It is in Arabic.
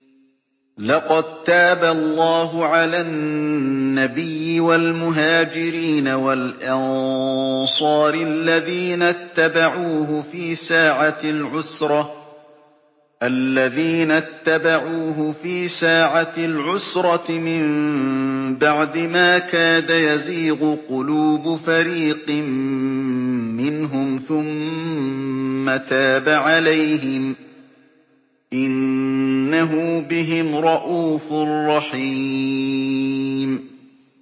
لَّقَد تَّابَ اللَّهُ عَلَى النَّبِيِّ وَالْمُهَاجِرِينَ وَالْأَنصَارِ الَّذِينَ اتَّبَعُوهُ فِي سَاعَةِ الْعُسْرَةِ مِن بَعْدِ مَا كَادَ يَزِيغُ قُلُوبُ فَرِيقٍ مِّنْهُمْ ثُمَّ تَابَ عَلَيْهِمْ ۚ إِنَّهُ بِهِمْ رَءُوفٌ رَّحِيمٌ